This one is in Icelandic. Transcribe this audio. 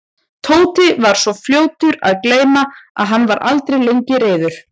Tóti var svo fljótur að gleyma og hann var aldrei lengi reiður.